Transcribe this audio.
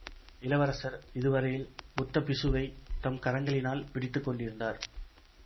இளவரசர் இதுவரையில் புத்த பிக்ஷுவை தம் கரங்களினால் பிடித்து கொண்டிருந்தார்